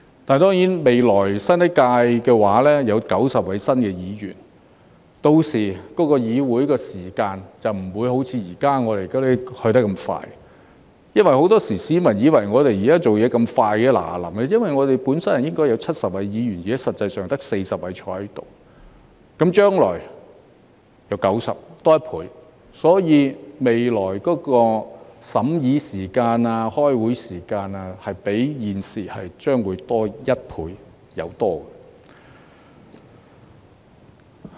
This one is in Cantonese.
但是，未來新一屆立法會有90位議員，屆時議會的會議速度便不會像現在這麼快——市民以為我們現在工作速度很快——因為我們本身應有70位議員，但現在實際上只有40位坐在這裏，而將來則會有90位議員，即多1倍，所以，未來審議法例的時間、開會時間將會較現時多1倍以上。